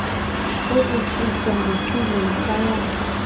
kokususwa ngeculo yikwayala